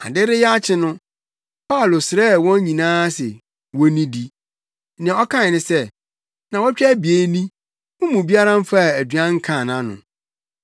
Ade reyɛ akye no, Paulo srɛɛ wɔn nyinaa se wonnidi. Nea ɔkae ne sɛ, “Nnaawɔtwe abien ni, mo mu biara mfaa aduan nkaa nʼano.